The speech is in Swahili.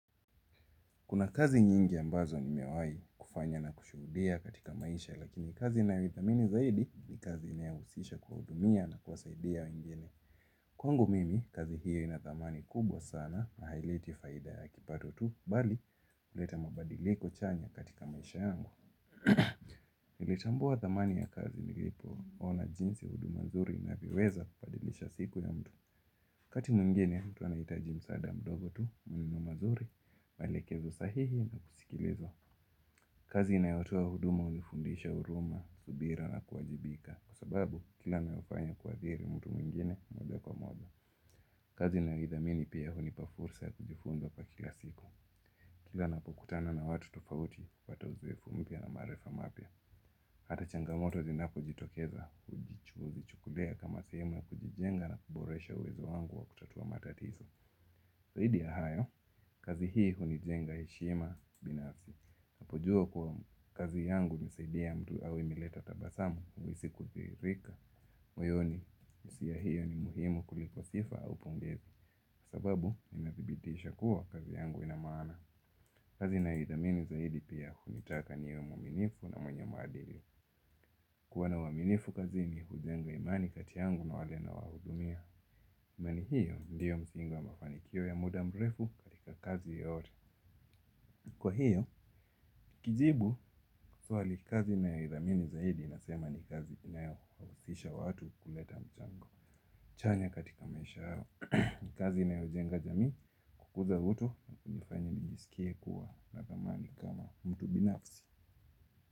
Kuna kazi nyingi ambazo nimewai kufanya na kushuhudia katika maisha lakini kazi nayo ithamini zaidi ni kazi inayahusisha kuwahudumia na kwasaidia wengine. Kwangu mimi kazi hiyo inathamani kubwa sana na haileti faida ya kipato tu, bali huleta mabadiliko chanya katika maisha yangu. Kutambua thamani ya kazi nilipo ona jinsi udumazuri unavyoweza kubadilisha siku ya mtu. Kati mwingine, mtu anahitaji mswada mdogo tu, muninu mazuri, maelekezo sahihi na kusikiliza. Kazi inayotoa huduma hunifundisha huruma, subira na kuwajibika. Kwa sababu, kila nalofanya huathiri mtu mwingine moja kwa moja. Kazi ninayoithamini pia hunipa fursa kujifunza kwa kila siku. Kila napokutana na watu tofauti, napata uzoefu mpya na maarifa mapya. Hata changamoto zinapo jitokeza, huvii chukulia kama sehemu ya kujijenga na kuboresha uwezo wangu wa kutatua matatizo. Zahidi ya hayo, kazi hii hunijenga heshima binafsi. Apojua kuwa kazi yangu imesaidi mtu au imeleta tabasamu, huhisi kuzirika, moyoni. Hisia hiyo ni muhimu kuliko sifa au pungezi. Sababu, inathibitisha kuwa kazi yangu inamaana. Kazi ninayo ithamini pia hunitaka niwe mwaminifu na mwenye maadiki. Kuwana uaminifu kazini hujenga imani kati yangu na wale na wahudumia. Miwani hiyo, ndiyo msingi wa mafanikio ya muda mrefu katika kazi yote. Kwa hiyo, kijibu swali kazi nayo ithamini zaidi inasema ni kazi inayohusisha watu kuleta mchango chanya katika maisha yao. Kazi inayo jenga jamii kukuza utu na kunifanya nijisikie kuwa na thamani kama mtu binafsi.